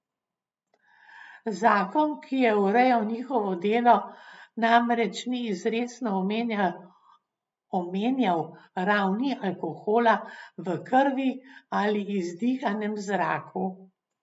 Zakon, ki je urejal njihovo delo, namreč ni izrecno omenjal ravni alkohola v krvi ali izdihanem zraku.